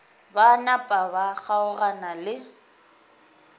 ba napa ba kgaogana le